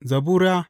Zabura Sura